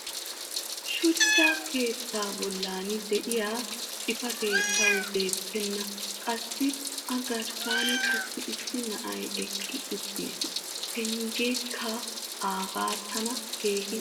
shuchcha keettaa bollan diya xifatee tawu beetenna. qassi a garssan qassi issi na'ay eqqi uttiis. pengeekka aagee tana keehi lo'ees.